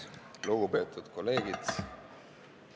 Lugupeetud kolleegid!